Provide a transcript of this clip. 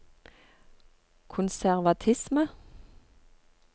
konservatisme